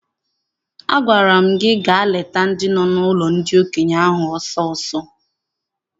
Agwara m gị gaa leta ndị nọ n'ụlọ ndị okenye ahụ ọsọ ọsọ!